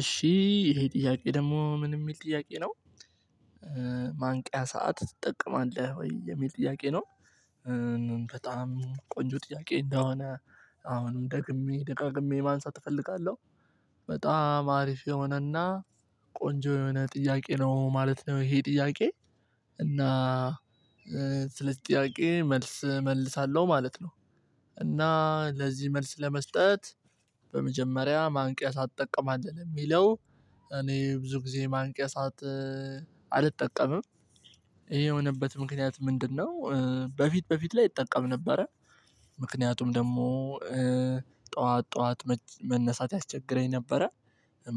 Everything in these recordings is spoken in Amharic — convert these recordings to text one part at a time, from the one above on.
እሺ ይሄ ጥያቄ ደግሞ ምን የሚል ጥያቄ ነው። ማንቂያ ሰዓት ትጠቀማለህ ወይ የሚል ጥያቄ ነው? በጣም ቆንጆ ጥያቄ እንደሆነ አሁንም ደግሜ ደጋግሜ ማንሳት እፈልጋለሁ። በጣም አሪፍ የሆነና ቆንጆ የሆነ ጥያቄ ነው ማለት ነው ይሄ ጥያቄ። እና ስለዚ ጥያቄ መልስ እመልሳለሁ ማለት ነው። እና ለዚህ መልስ ለመስጠት በመጀመሪያ ማንቂያ ሰዓት ትጠቀማለህ ለሚለው። እኔ ብዙ ጊዜ ማንቂያ ሰዓት አልጠቀምም። ይሄ የሆነበት ምክንያት ምንድነው? በፊት በፊት ላይ እጠቀም ነበረ። ምክንያቱም ደግሞ ጠዋት ጠዋት መነሳት ያስቸግረኝ ነበረ።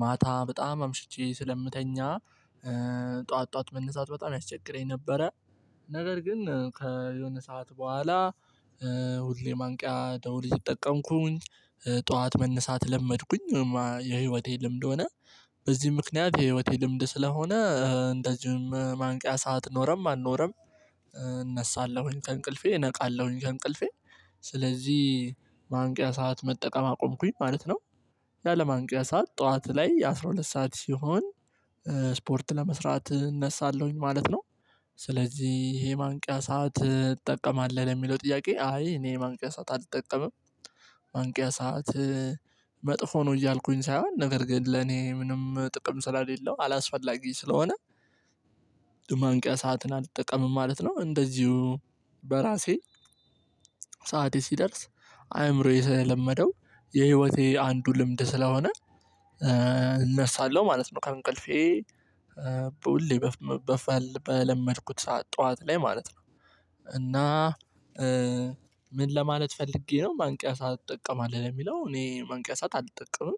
ማታ በጣም አምሽቼ ስለምተኛ። ጠዋት ጠዋት መነሳት በጣም ያስቸግረኝ ነበረ። ነገር ግን ከየሆነ ሰዓት በኋላ ሁሌ ማንቂያ ደውል እየተጠቀምኩኝ ጠዋት መነሳት ለመድኩኝ ወይም የህይወቴ ልምድ ሆነ። በዚህ ምክንያት የህይወቴ ልምድ ስለሆነ እንደዚሁም ማንቂያ ሰዓት ኖረም አልኖረም። እነሳለሁኝ ከእንቅልፌ ነቃለሁኝ ከእንቅልፌ ስለዚህ ማንቂያ ሰዓት መጠቀም አቆምኩኝ ማለት ነው። ያለማንቂያ ሰዓት ጠዋት ላይ የአሥራ ሁለት ሰዓት ሲሆን ስፖርት ለመስራት እነሳለሁኝ ማለት ነው። ስለዚህ ይሄ ማንቂያ ሰዓት ትጠቀማለሁ ለሚለው ጥያቄ አይ እኔ ማንቂያ ሰዓት አልጠቀምም። ማንቂያ ሰዓት መጥፎ ነው እያልኩኝ ሳይሆን ነገር ግን ለኔ ምንም ጥቅም ስለሌለው አላስፈላጊ ስለሆነ። ማንቂያ ሰዓትን አልጠቀምም ማለት ነው። እንደዚሁ በራሴ ሰዓቴ ሲደርስ አይምሮዬ ስለለመደው የህይወቴ አንዱ ልምድ ስለሆነ እነሳለሁ ማለት ነው ከእንቅልፌ። በፈል በለመድኩት ሰዓት ጠዋት ላይ ማለት ነው። እና ምን ለማለት ፈልጌ ነው ማንቂያ ሰዓት ትጠቀማለሁ ለሚለው እኔ ማንቂያ ሰዓት አልጠቀምም።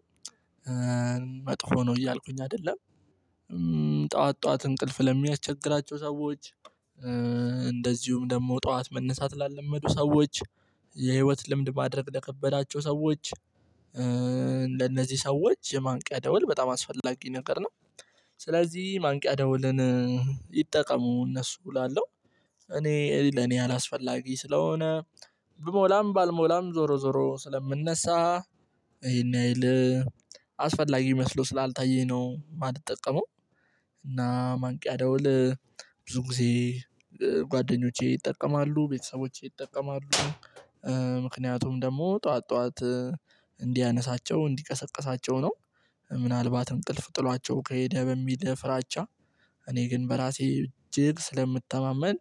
መጥፎ ነው እያልኩኝ አይደለም። ጠዋት ጠዋት እንቅልፍ ለሚያስቸግራቸው ሰዎች እንደዚሁም ደግሞ ጠዋት መነሳት ላለመዱ ሰዎች የህይወት ልምድ ማድረግ ለከበዳቸው ሰዎች። ለነዚህ ሰዎች የማንቂያ ደውል በጣም አስፈላጊ ነገር ነው። ስለዚህ ማንቂያ ደውልን ይጠቀሙ እነሱ እላለሁ። እኔ ለኔ አላስፈላጊ ስለሆነ ብሞላም ባልሞላም ዞሮ ዞሮ ስለምነሳ። ይሄን ያህል አስፈላጊ መስሎ ስላልታየኝ ነው የማልጠቀመው። እና ማንቂያ ደውል ብዙ ጊዜ ጓደኞቼ ይጠቀማሉ ቤተሰቦቼ ይጠቀማሉ። ምክንያቱም ደግሞ ጠዋት ጠዋት እንዲያነሳቸው እንዲቀሰቅሳቸው ነው። ምናልባት እንቅልፍ ጥሏቸው ከሄደ በሚል ፍራቻ። እኔ ግን በራሴ እጅግ ስለምተማመን።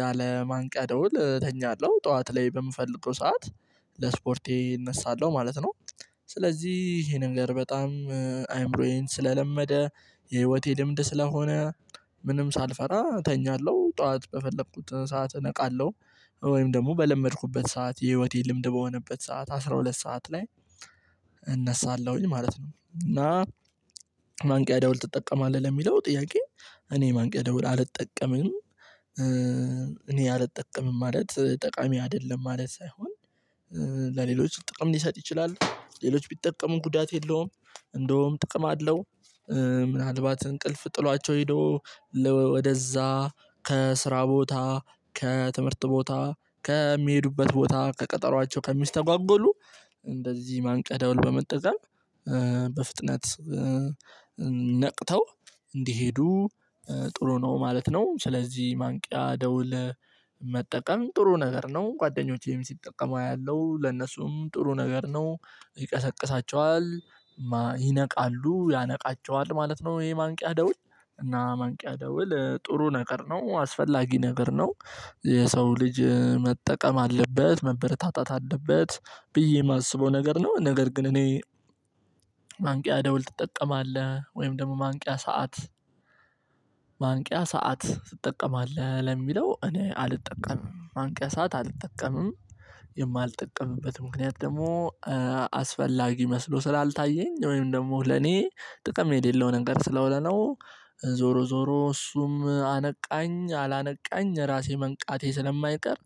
ያለማንቂያ ደውል እተኛለሁ ጠዋት ላይ በምፈልገው ሰዓት ለስፖርቴ እነሳለሁ ማለት ነው። ስለዚህ ይሄ ነገር በጣም አይምሮዬን ስለለመደ የህይወቴ ልምድ ስለሆነ ምንም ሳልፈራ እተኛለሁ ጠዋት በፈለኩት ሰዓት እነቃለሁ። ወይም ደግሞ በለመድኩበት ሰዓት የህይወቴ ልምድ በሆነበት ሰዓት አስራ ሁለት ሰዓት ላይ እነሳለሁኝ ማለት ነው። እና ማንቂያ ደውል ትጠቀማለህ ለሚለው ጥያቄ እኔ ማንቂያ ደውል አልጠቀምም። እኔ አልጠቀምም ማለት ጠቃሚ አይደለም ማለት ሳይሆን። ለሌሎች ጥቅም ሊሰጥ ይችላል ሌሎች ቢጠቀሙም ጉዳት የለውም። እንደውም ጥቅም አለው። ምናልባት እንቅልፍ ጥሏቸው ሄዶ ወደዛ ከስራ ቦታ ከትምህርት ቦታ ከሚሄዱበት ቦታ ከቀጠሯቸው ከሚስተጓጎሉ። እንደዚህ ማንቂያ ደውል በመጠቀም በፍጥነት ነቅተው እንዲሄዱ ጥሩ ነው ማለት ነው። ስለዚህ ማንቂያ ደውል መጠቀም ጥሩ ነገር ነው። ጓደኞቼም ሲጠቀሙ አያለው ለነሱም ጥሩ ነገር ነው። ይቀሰቅሳቸዋል ይነቃሉ ያነቃቸዋል ማለት ነው። ይሄ ማንቂያ ደውል እና ማንቂያ ደውል ጥሩ ነገር ነው አስፈላጊ ነገር ነው። የሰው ልጅ መጠቀም አለበት መበረታታት አለበት ብዬ እማስበው ነገር ነው። ነገር ግን እኔ ማንቂያ ደውል ትጠቀማለህ ወይም ደግሞ ማንቂያ ሰዓት? ማንቂያ ሰዓት ትጠቀማለህ ለሚለው እኔ አልጠቀምም ማንቂያ ሰዓት አልጠቀምም። የማልጠቀምበት ምክንያት ደግሞ አስፈላጊ መስሎ ስላልታየኝ ወይም ደግሞ ለኔ ጥቅም የሌለውን ነገር ስለሆነ ነው። ዞሮ ዞሮ እሱም አነቃኝ አላነቃኝ ራሴ መንቃቴ ስለማይቀር።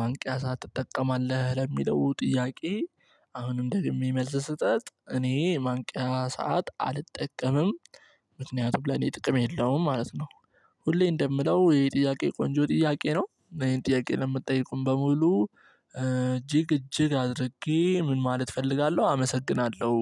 ማንቂያ ሰዓት ትጠቀማለህ ለሚለው ጥያቄ? አሁንም ደግሜ መልስ ስሰት እኔ ማንቂያ ሰዓት አልጠቀምም። ምክንያቱም ለኔ ጥቅም የለውም ማለት ነው። ሁሌ እንደምለው ይሄ ጥያቄ ለኔ ቆንጆ ጥያቄ ነው። እና ይሄን ጥያቄ ለምትጠይቁም በሙሉ እጅግ እጅግ አድርጌ ምን ማለት እፈልጋለሁ አመሰግናለሁ።